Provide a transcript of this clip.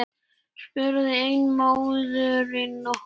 spurði ein móðirin okkur.